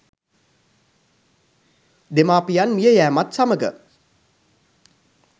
දෙමාපියන් මිය යෑමත් සමග